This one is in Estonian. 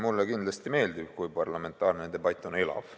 Mulle kindlasti meeldib, kui parlamentaarne debatt on elav.